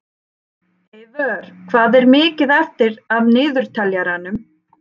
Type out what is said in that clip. Eyvör, hvað er mikið eftir af niðurteljaranum?